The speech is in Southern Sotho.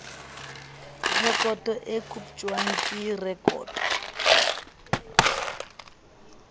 rekoto e kotjwang ke rekoto